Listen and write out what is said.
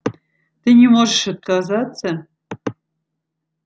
ты не можешь отказаться